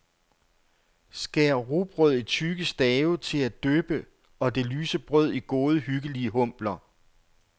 Skær rugbrød i tykke stave til at dyppe og det lyse brød i gode hyggelige humpler.